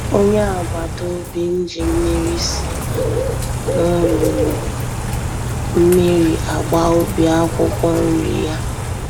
Onye agbata obim ji mmiri si na n'olulu mmiri agba ubi akwụkwọ nri ya